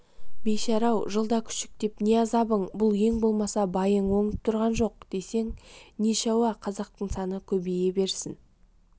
бейшара-ау жылда күшіктеп не азабың бұл ең болмаса байың оңып тұрған жоқ десең нешауа қазақтың саны көбейе берсін